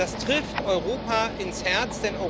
Das trifft Europa ins Herz.